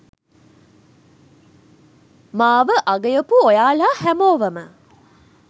මාව අගයපු ඔයාලා හැමෝවම